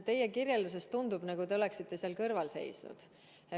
Teie kirjeldusest tundub, nagu te oleksite seal kõrval seisnud.